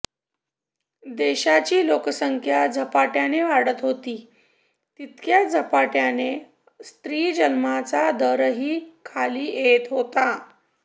देशाची लोकसंख्या झपाटय़ाने वाढत होती तितक्याच झपाटय़ाने स्त्री जन्माचा दरही खाली येत होता